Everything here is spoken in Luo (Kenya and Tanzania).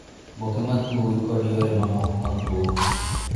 Oboke mag mbui kod yore mamoko mag mbui